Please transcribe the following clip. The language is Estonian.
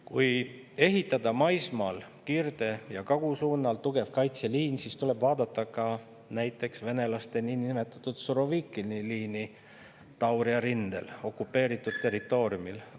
Kui ehitada maismaale kirde ja kagu suunal tugev kaitseliin, siis tuleb vaadata ka näiteks venelaste niinimetatud Surovikini liini Tauria rindel, okupeeritud territooriumil.